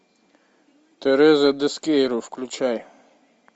тереза дескейру включай